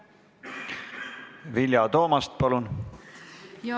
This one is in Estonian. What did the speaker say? Vilja Toomast, palun!